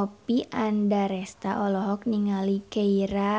Oppie Andaresta olohok ningali Keira